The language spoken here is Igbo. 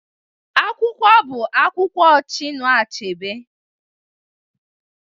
Akwụkwọ bụ akwụkwọ Chinua Achebe